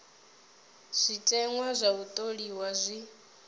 zwiteṅwa zwa u tholiwa zwi